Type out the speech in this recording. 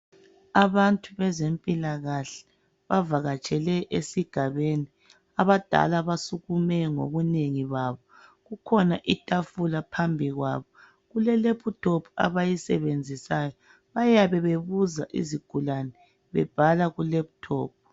Abantu bezempilakahle bavakatshele esigabeni, abadala basukume ngobunengi babo. Kukhona itafula phambi kwabo kulelephuthophu abayisebenzisayo bayabe bebuza izigulane bebhala kulephuthophu.